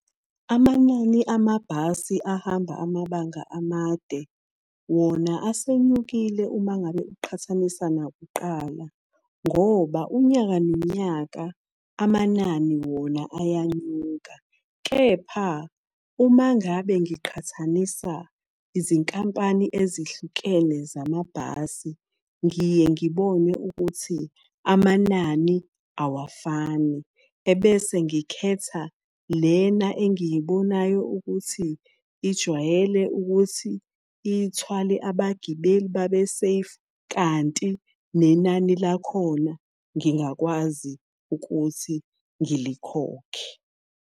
Amanani amabhasi ahamba amabanga amade wona asenyukile uma ngabe uqhathanisa nakuqala. Ngoba unyaka nonyaka, amanani wona ayanyuka, kepha uma ngabe ngiqhathanisa izinkampani ezihlukene zamabhasi. Ngiye ngibone ukuthi amanani awafani ebese ngikhetha lena engiyibonayo ukuthi ijwayele ukuthi ithwale abagibeli babe safe, kanti nenani lakhona ngingakwazi ukuthi ngilikhokhe.